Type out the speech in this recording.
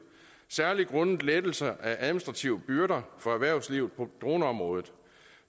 særlig grundet lettelser af administrative byrder for erhvervslivet på droneområdet